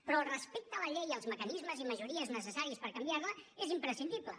però el respecte a la llei i als mecanismes i majories necessaris per canviar la és imprescindible